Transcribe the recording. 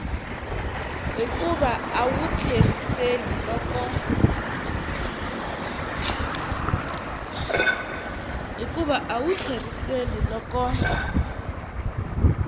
hikuva a wu tlheriseli loko